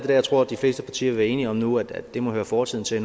jeg tror at de fleste partier vil være enige om nu at det må høre fortiden til